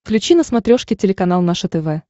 включи на смотрешке телеканал наше тв